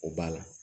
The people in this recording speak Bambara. O b'a la